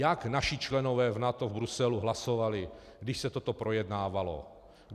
Jak naši členové v NATO v Bruselu hlasovali, když se toto projednávalo?